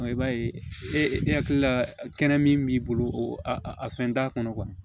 I b'a ye e hakili la kɛnɛ min b'i bolo o a fɛn t'a kɔnɔ